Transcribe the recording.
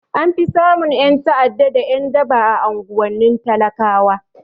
An fi samun ƴan ta'ada da ƴan daba a unguwannin talakawa